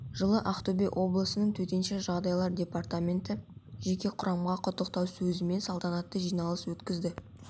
жылы ақтөбе облысының төтенше жағдайлар департаменті жеке құрамға құттықтау сөзімен салтанатты жиналыс өткізді